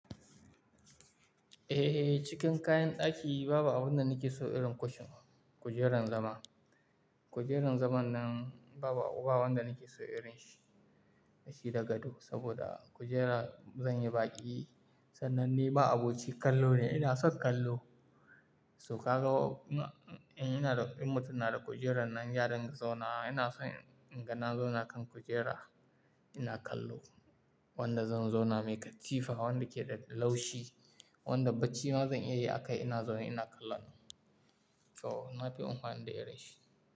Eh, cikin kayan ɗaki babu abunda nake so irin kushin, kujerar zama. Kujerar zaman nan babu abu ba wanda nake so irin shi, shi da gado saboda kujera zan yi baƙi. Sannan ni ma abocin kallo ne, ina son kallo. To ka ga in ina da, in mutum na da kujerar nan yadin zauna ina son ingana zauna kan kujera ina kallo. Wanda zan zauna mai katifa, wanda ke da laushi, wanda bacci ma zan iya yi akai ina zaune ina kallon. To, na fi unfani da irinshi.